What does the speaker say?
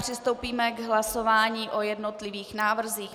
Přistoupíme k hlasování o jednotlivých návrzích.